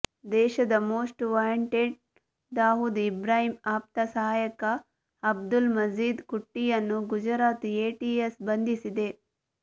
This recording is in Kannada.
ದೇಶದ ಮೋಸ್ಟ್ ವಾಂಟೆಡ್ ದಾವೂದ್ ಇಬ್ರಾಹಿಂ ಆಪ್ತ ಸಹಾಯಕ ಅಬ್ದುಲ್ ಮಜೀದ್ ಕುಟ್ಟಿಯನ್ನು ಗುಜರಾತ್ ಎಟಿಎಸ್ ಬಂಧಿಸಿದೆ